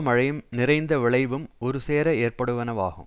மழையும் நிறைந்த விளைவும் ஒருசேர ஏற்படுவனவாகும்